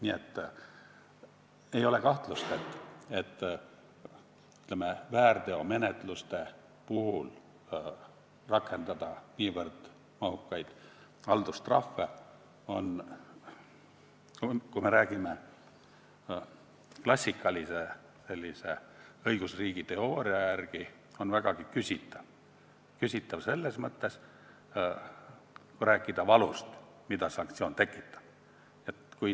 Nii et ei ole kahtlust, rakendada väärteomenetluste puhul niivõrd mahukaid haldustrahve, kui me räägime klassikalise õigusriigi teooria järgi, on vägagi küsitav, kui rääkida valust, mida sanktsioon tekitab.